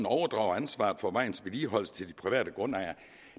overdrager ansvaret for vejens vedligeholdelse til de private grundejere